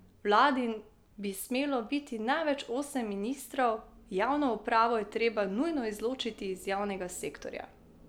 V vladi bi smelo biti največ osem ministrov, javno upravo je treba nujno izločiti iz javnega sektorja.